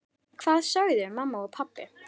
Hvað sögðu mamma og pabbi?